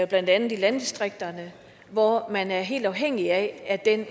blandt andet i landdistrikterne hvor man er helt afhængig af at